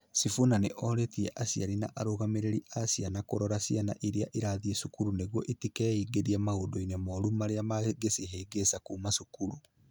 Sifuna nĩ orĩtie aciari na arũgamĩrĩri a ciana kũrora ciana iria irathiĩ cukuru nĩguo itiingĩrie maũndũ-inĩ moru marĩa mangĩcihĩngĩca kuuma cukuru.